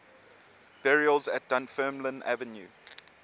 burials at dunfermline abbey